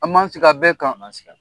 An man sigi a bɛɛ kan. An man sigi